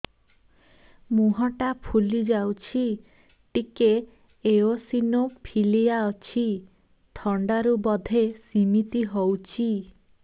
ମୁହଁ ଟା ଫୁଲି ଯାଉଛି ଟିକେ ଏଓସିନୋଫିଲିଆ ଅଛି ଥଣ୍ଡା ରୁ ବଧେ ସିମିତି ହଉଚି